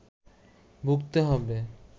ভুগতে হবে